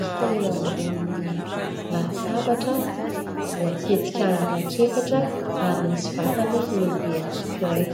hita eo ambonin'ny latabatra, voatetika anaky efatra ary misy vatany lehibe anankiray.